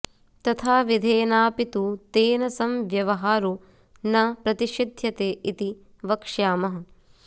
तथाविधेनापि तु तेन संव्यवहारो न प्रतिषिध्यते इति वक्ष्यामः